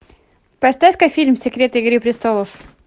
поставь ка фильм секреты игры престолов